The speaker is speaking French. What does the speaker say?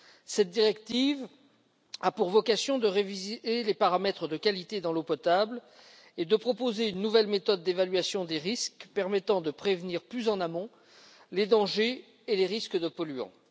Cette directive a pour vocation de réviser les paramètres de qualité de l'eau potable et de proposer une nouvelle méthode d'évaluation des risques permettant de prévenir plus en amont les dangers et les risques de polluants.